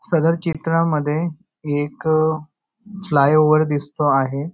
सदर चित्रामध्ये एक फ्लायओव्हर दिसतो आहे.